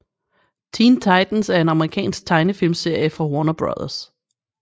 Teen Titans er en amerikansk tegnefilmserie fra Warner Bros